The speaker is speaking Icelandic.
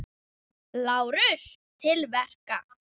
LÁRUS: Til verka!